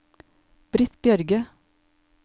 Britt Bjørge